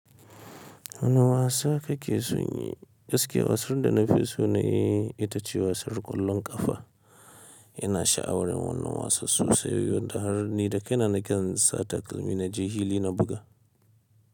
Wane wasa kake son yi? Gaskiya wasan da na fi so na yi ita ce wasan ƙwallon ƙafa. Ina sha'awar wannan wasan sosai, wanda har ni da kaina na kan sa takalmi na je fili na buga.